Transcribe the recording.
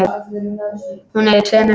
Hún er í tveimur vinnum.